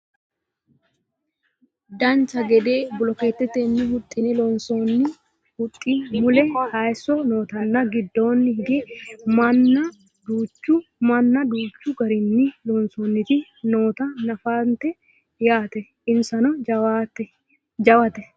dancha gede bolokeettetenni huxxine lonsoonni huxxi mule hayeesso nootanna giddoonni higge minna danchu garinni lonsoonniti noota nafannite yaate insano jawate